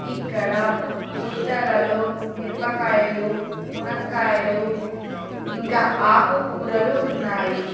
ఇక్కడ బుట్టలలో మిరపకాయలు మునక్కాయలు ఇంకా ఆకుకూరలు ఉన్నాయి.